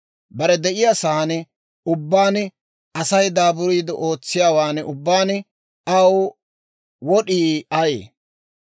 Bare de'iyaa saan ubbaan, Asay daaburiide ootsiyaawaan ubbaan aw wod'ii ayee?